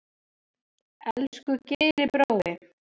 Elsku Geiri brói.